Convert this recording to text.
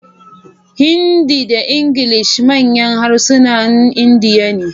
Hindi da Ingilishi manyan harsunan Indiya ne.